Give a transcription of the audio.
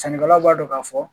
Sannikɛlaw b'a dɔn ka fɔ